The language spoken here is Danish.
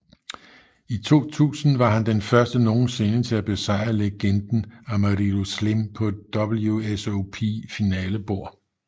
I 2000 var han den første nogensinde til at besejrede legenden Amarillo Slim på et WSOP finalebord